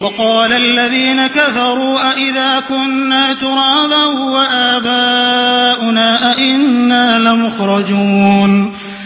وَقَالَ الَّذِينَ كَفَرُوا أَإِذَا كُنَّا تُرَابًا وَآبَاؤُنَا أَئِنَّا لَمُخْرَجُونَ